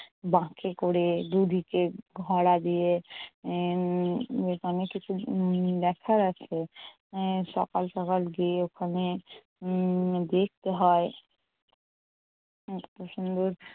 বাঁকে করে দুদিকে ঘরা দিয়ে। এর অনেক কিছু দেখার আছে এর সকাল সকাল গিয়ে ওখানে উম দেখতে হয়। এত সুন্দর